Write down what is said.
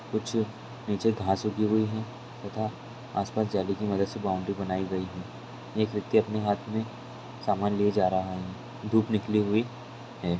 कुछ निचे घांस उगी हुई है। तथा आसपास जाली की मदद से बॉउंड्री बनायीं गयी है। एक व्यक्ति अपने हाथ मैं सामान लिए जा रहा है। धुप निकली हुई है।